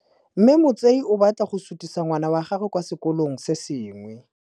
Mme Motsei o batla go sutisa ngwana wa gagwe kwa sekolong se sengwe.